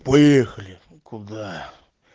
поехали куда